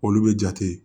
Olu bɛ jate